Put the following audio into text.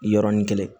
Yɔrɔnin kelen